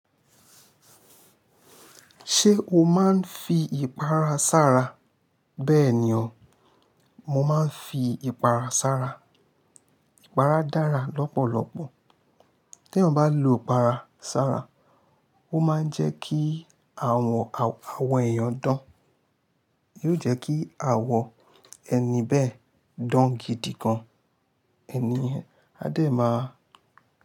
Ṣé o máa ń fi ìpara sára? Bẹ́ẹ̀ ni o, mo máa ń fi ìpara sára. Ìpara dára lọ́pọ̀lọpọ̀. Tí ẹyan bá lò ìpara sára, ó máa ń jẹ́ kí àwọn, àwọn ẹ̀yàn dán. Yóò jẹ́ kí àwọ̀ ẹni bẹ́ẹ̀ dán gidi gan. Ẹni yẹn a dẹ ma.